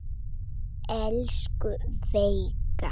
Elsku Veiga.